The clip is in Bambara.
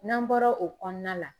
N'an bɔra o kɔnɔna la